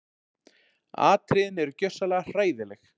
Atriðin eru gjörsamlega hræðileg